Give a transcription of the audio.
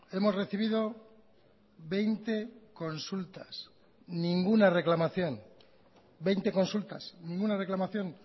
hemos recibido veinte consultas ninguna reclamación veinte consultas ninguna reclamación